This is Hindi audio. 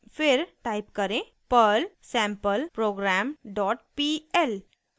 फिर टाइप करें perl sampleprogrampl